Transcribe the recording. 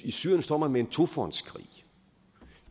i syrien står man med en tofrontskrig